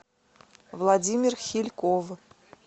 владимир хильков